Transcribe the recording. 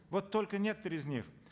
вот только некоторые из них